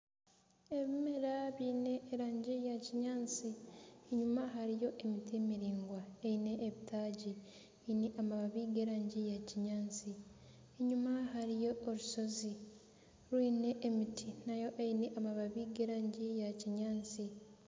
Ebimera byine erangi ya kinyaatsi, enyima hariyo emiti miringwa eyine ebitaagi, eyine amababi g'erangi ya kinyaatsi. Enyima hariyo orushozi rwine emiti nayo eyine amababi g'erangi ya kinyaantsi.